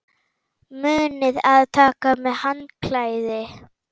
Munið að taka með handklæði!